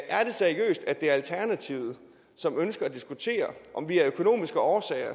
er det seriøst at det er alternativet som ønsker at diskutere om vi af økonomiske årsager